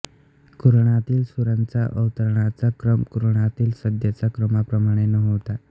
कुराणातील सूरांचा अवतरण्याचा क्रम कुराणातील सध्याच्या क्रमाप्रमाणे नव्हता